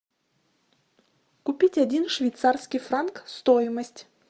купить один швейцарский франк стоимость